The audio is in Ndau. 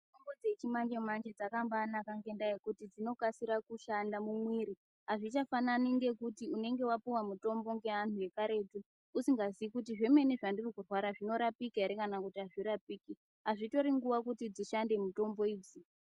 Mitombo dzechimanjemanje dzakambaanaka ngekuti dzinokasira kushanda mumwiri. Azvichafanani ngekuti unenge wapuwa mutombo ngeanhu ekaretu, usingazii kuti zvemene zvandiri kurwara zvinorapika ere kana kuti azvirapiki. Azvitori nguwa kuti dzishande mutombo idzi.